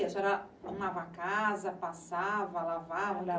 A senhora arrumava a casa, passava, lavava?